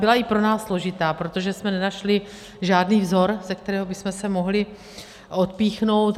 Byla i pro nás složitá, protože jsme nenašli žádný vzor, ze kterého bychom se mohli odpíchnout.